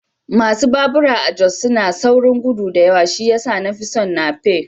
Masu babura a Jos suna saurin gudu da yawa shi ya sa na fi son nape